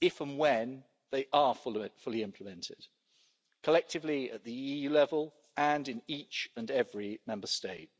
if and when they are fully implemented, collectively at EU level and in each and every Member State.